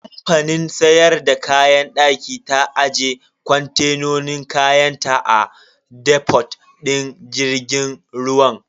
Kamfanin siyar da kayan daki ta aje kontenan kayanta a defot din jirgin ruwan.